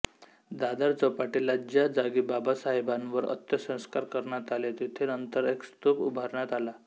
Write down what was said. दादर चौपाटीला ज्या जागी बाबासाहेबांवर अंत्यसंस्कार करण्यात आले तिथे नंतर एक स्तूप उभारण्यात आला